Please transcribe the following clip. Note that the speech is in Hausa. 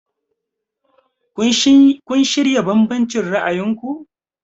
Have you reconciled your different views?